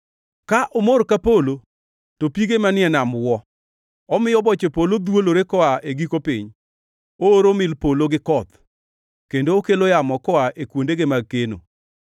Ka omor ka polo, to pige manie polo wuo; omiyo boche polo dhwolore koa e giko piny. Ooro mil polo gi koth kendo okelo yamo koa e kuondege mag keno.